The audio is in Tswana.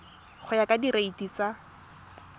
go ya ka direiti tsa